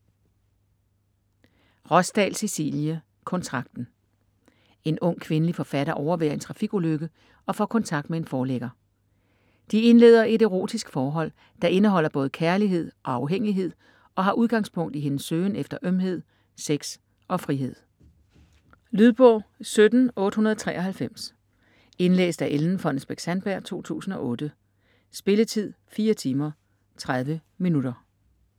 Rosdahl, Cecilie: Kontrakten En ung kvindelig forfatter overværer en trafikulykke og får kontakt med en forlægger. De indleder et erotisk forhold, der indeholder både kærlighed og afhængighed og har udgangspunkt i hendes søgen efter ømhed, sex og frihed. Lydbog 17893 Indlæst af Ellen Fonnesbech-Sandberg, 2008. Spilletid: 4 timer, 30 minutter.